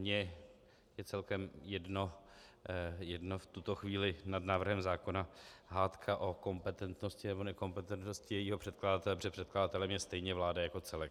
Mně je celkem jedno v tuto chvíli nad návrhem zákona hádka o kompetentnosti nebo nekompetentnosti jejího předkladatele, protože předkladatelem je stejně vláda jako celek.